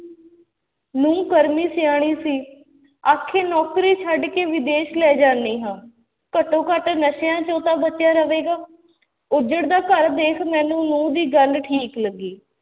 ਨਹੁੰ ਕਰਮੀ ਸਿਆਣੀ ਸੀ, ਆਖੇ ਨੌਕਰੀ ਛੱਡ ਕੇ ਵਿਦੇਸ਼ ਲੈ ਜਾਂਦੀ ਹਾਂ, ਘੱਟੋ ਘੱਟ ਨਸ਼ਿਆਂ ਚੋਂ ਤਾਂ ਬਚਿਆ ਰਹੇਗਾ ਉੱਜੜਦਾ ਘਰ ਦੇਖ ਮੈਨੂੰ ਨਹੁੰ ਦੀ ਗੱਲ ਠੀਕ ਲੱਗੀ